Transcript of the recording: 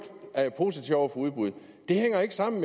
positiv over for udbud det hænger ikke sammen